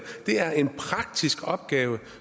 det er en praktisk opgave